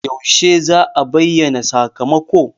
Yaushe za'a bayyana sakamako?